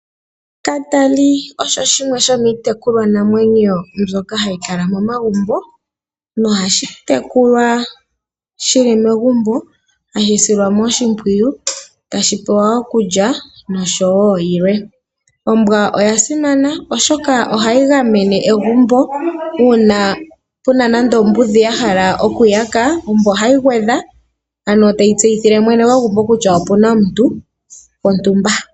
Katali osho shimwe shomitekulwa namwenyo mboka hayi kala momagumbo nohashi tekulwa shili megumbo hashi silwa mo oshipwiyu tashi pewa okulya nosho wo yilwe. Ombwa oya simana oshoka ohayi gamene egumbo una puna nande ombudhi yahala okuyaka ombwa ohayi gwedha ano tayi tseyithile mwene gwegumbo kutya opuna omuntu gotumba.